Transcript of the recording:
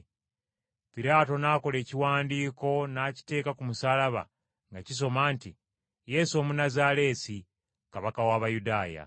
Piraato n’akola ekiwandiiko n’akiteeka ku musaalaba, nga kisoma nti: “Yesu Omunnazaaleesi, Kabaka w’Abayudaaya.”